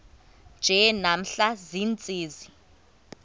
nje namhla ziintsizi